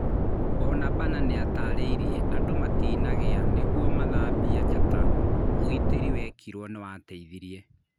Bonabana nĩatarĩirie "andũ matinagĩa nĩguo mathambia njata, ũgitĩri wekĩrwo nĩwateithirie"